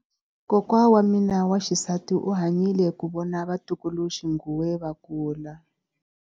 Kokwa wa mina wa xisati u hanyile ku vona vatukuluxinghuwe va kula.